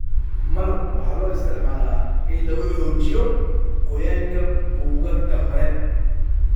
malab waxaa loo isticmaalaa in lagu xoojiyo qoyaanka buugaagta hore.